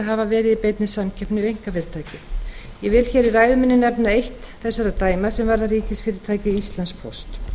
hafa verið í beinni samkeppni við einkafyrirtæki ég vil hér í ræðu minni nefna eitt þessara dæma sem varða ríkisfyrirtækið íslandspóst